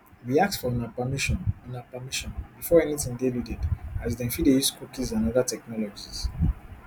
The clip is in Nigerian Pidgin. we ask for una permission una permission before anytin dey loaded as dem fit dey use cookies and oda technologies